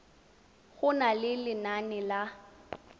go na le lenane la